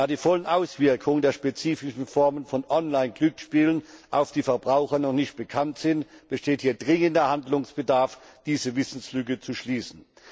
Da die vollen Auswirkungen der spezifischen Formen von Online Glücksspielen auf die Verbraucher noch nicht bekannt sind, besteht hier dringender Handlungsbedarf, diese Wissenslücke zu schließen.